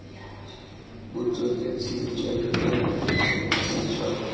botsweretshi jwa dipente bontsi jwa